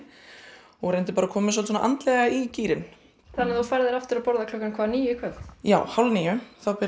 og reyndi bara að koma mér andlega í gírinn þú færð þér aftur að borða klukkan hvað níu í kvöld já hálf níu þá byrja